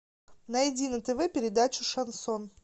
найди на тв передачу шансон